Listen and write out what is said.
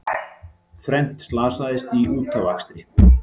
Þrennt slasaðist í útafakstri